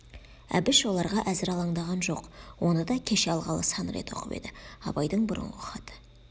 әбіш оларға әзір алаңдаған жоқ оны да кеше алғалы сан рет оқып еді абайдың бұрынғы хаты